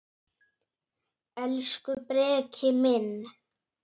Elsku Breki minn.